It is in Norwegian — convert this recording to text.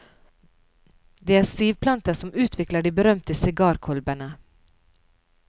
Det er sivplanter som utvikler de berømte sigarkolbene.